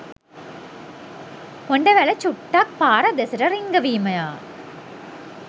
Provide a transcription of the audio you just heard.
හොඬවැල චුට්ටක් පාර දෙසට රිංගවීමය.